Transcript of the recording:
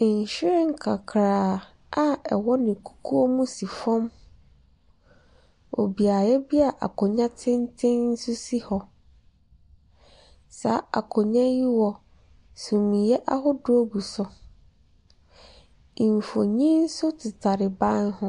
Nhwiren kakraa a ɛwɔ ne kukuo mu si fam wɔ beaeɛ bi a akonnwa tenten sisi hɔ. Saa akonnwa yi wɔ sumiiɛ ahodoɔ gu so. Mfonin nso tetare ban ho